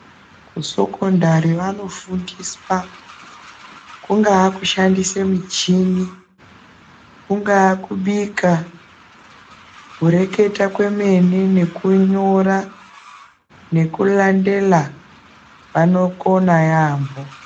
Kusekondari vanofundiswa kungaa kushandise muchini kungaa kubika kureketa kwemene nekunyora nekulandela vanokona yaambo.